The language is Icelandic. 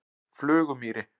Flugumýri